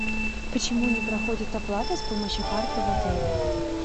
почему не проходит оплата с помощью карты в отеле